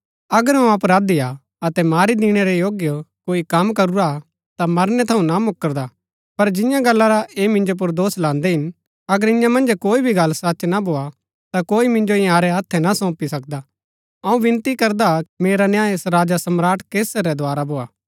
अगर अऊँ अपराधी हा अतै मारी दिणै रै योग्य कोई कम करूरा हा ता मरनै थऊँ ना मुकरदा पर जियां गल्ला रा ऐह मिन्जो पुर दोष लान्दै हिन अगर इन्या मन्ज कोई भी गल्ल सच ना भोआ ता कोई मिन्जो इन्यारै हत्थै ना सौंपी सकदा अऊँ विनती करदा कि मेरा न्याय राजा सम्राट कैसर रै द्वारा भोआ